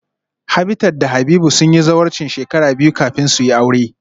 Habitat da Habib sun yi zawarcin shekara biyu kafin su yi aure